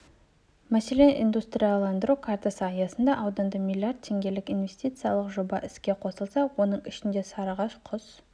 мәселен индустрияландыру картасы аясында ауданда млрд теңгелік инвестициялық жоба іске қосылса оның ішінде сарыағаш құс